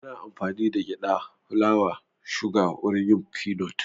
Ana amfani da gyada, fulawa ,suga wurin yin finot